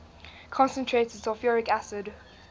concentrated sulfuric acid